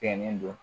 Kɛ nin don